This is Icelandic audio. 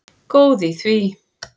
Góð í því!